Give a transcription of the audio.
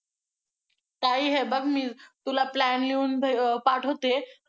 ताई, हे बघ मी तुला plan लिहून पाठवते.